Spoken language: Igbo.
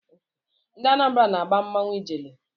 Ndị Anambara na-agba mmanwụ Ijele.